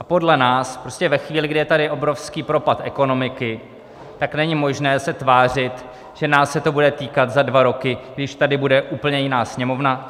A podle nás prostě ve chvíli, kdy je tady obrovský propad ekonomiky, tak není možné se tvářit, že nás se to bude týkat za dva roky, když tady bude úplně jiná Sněmovna.